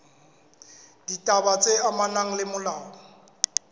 ditaba tse amanang le molao